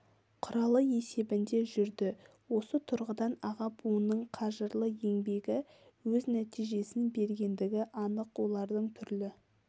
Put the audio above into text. құралы есебінде жүрді осы тұрғыдан аға буынның қажырлы еңбегі өз нәтижесін бергендігі анық олардың түрлі